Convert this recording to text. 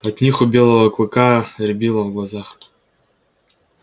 от них у белого клыка рябило в глазах